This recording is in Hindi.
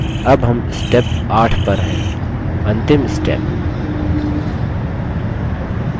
अब हम step 8 पर हैंअंतिम step